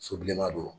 So bilenman don